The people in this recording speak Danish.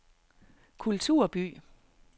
kulturby